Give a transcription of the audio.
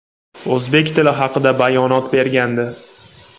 o‘zbek tili haqida bayonot bergandi.